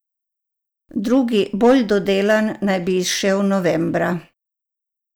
Drugi, bolj dodelan, naj bi izšel novembra!